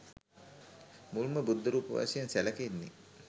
මුල්ම බුද්ධරූප වශයෙන් සැලකෙන්නේ